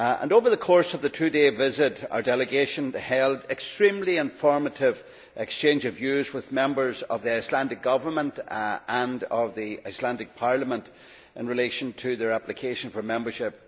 Over the course of the two day visit, our delegation held an extremely informative exchange of views with members of the Icelandic Government and of the Icelandic Parliament in relation to their application for membership.